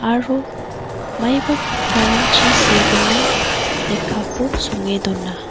aro maiba kattarangchi segimin lekkako songe donga.